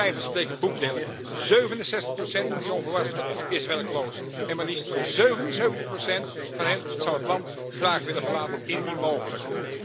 De harde cijfers spreken boekdelen 67 procent van jongvolwassenen is werkloos en maar liefst 77 procent van hen zou het land graag willen verlaten indien mogelijk.